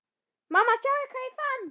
Mamma sjáðu hvað ég fann!